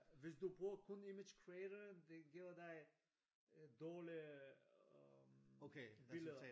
Hvis du bruger kun image creator den giver dig øh dårlige øh billeder